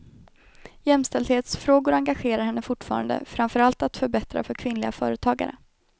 Jämställdhetsfrågor engagerar henne fortfarande, framför allt att förbättra för kvinnliga företagare.